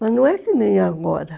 Mas não é que nem agora.